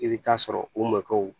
I bɛ taa sɔrɔ u mɔkɛw